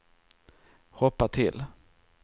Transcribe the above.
hoppa till